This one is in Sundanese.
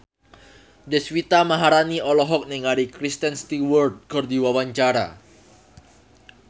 Deswita Maharani olohok ningali Kristen Stewart keur diwawancara